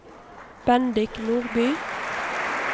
Bendik Nordby